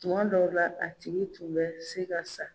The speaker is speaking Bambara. Tuma dɔw la a tigi tun bɛ se ka sa.